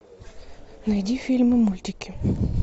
найди фильмы мультики